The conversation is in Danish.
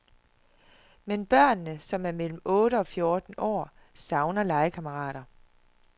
Men børnene, som er mellem otte og fjorten år, savner legekammerater.